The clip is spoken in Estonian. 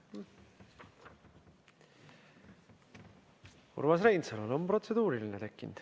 Urmas Reinsalul on protseduuriline küsimus tekkinud.